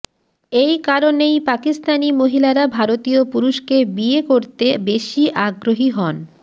এই কারণেই পাকিস্তানি মহিলারা ভারতীয় পুরুষকে বিয়ে করতে বেশি আগ্রহী হন